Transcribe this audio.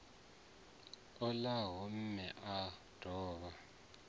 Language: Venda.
o ṱalaho mme o dovha